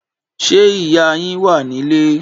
Ṣé ìyá yín wà ní ilé?